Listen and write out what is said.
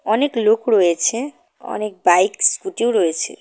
অনেকলোক রয়েছে অনেক বাইক স্কুটিও রয়েছে।